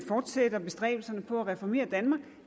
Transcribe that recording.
fortsætter bestræbelserne på at reformere danmark